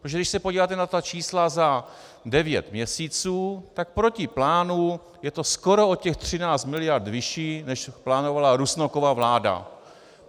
Protože když se podíváte na ta čísla za devět měsíců, tak proti plánu je to skoro o těch 13 mld. vyšší, než plánovala Rusnokova vláda.